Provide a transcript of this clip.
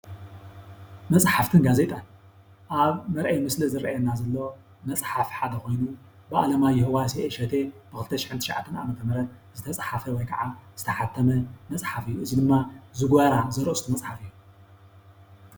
መፅሓፍትን ጋዜጣን ኣብ መርአይ ምስሊ ዝረአየና ዘሎ መፅሓፍ ሓደ ኮይኑ ብኣለማዮህ ዋሴ እሸቴ ብ2009 ዓ.ም ዝተፃሓፈ ወይ ከዓ ዝተሓተመ መፅሓፍ እዩ እዚ ድማ ዝጎራ ዘርእስቱ መፅሓፍ እዩ።